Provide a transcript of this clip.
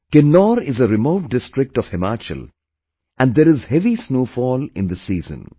Kinnaur is a remote district of Himachal and there is heavy snowfall in this season